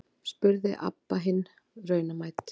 spurði Abba hin raunamædd.